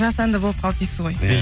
жасанды болып қалды дейсіз ғой